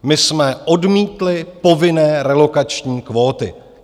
My jsme odmítli povinné relokační kvóty.